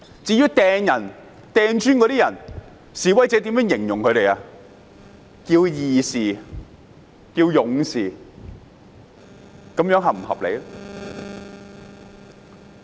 至於投擲磚頭的人，示威者稱他們為義士、勇士，這樣是否合理？